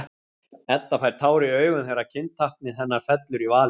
Edda fær tár í augun þegar kyntáknið hennar fellur í valinn.